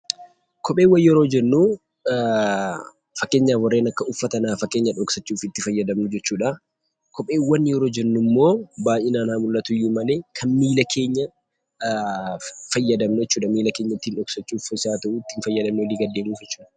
Kopheewwan yeroo jennu fakkeenyaaf warreen akka uffataa qullaa keenya dhoksachuuf itti fayyadamnu jechuudha. Kopheewwan yeroo jennummoo baay'inaan haa mul'atuyyuu malee keenyaaf kan fayyadamnu jechuudha, miilla keenya ittiin dhokfachuuf fi ittii deemuuf jechuudha.